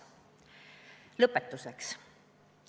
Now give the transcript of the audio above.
Lõpetuseks.